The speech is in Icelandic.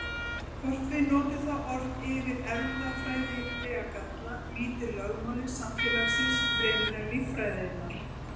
Hvort við notum það orð yfir erfðafræðilega galla, lýtur lögmálum samfélagsins fremur en líffræðinnar.